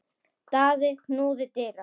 Daði knúði dyra.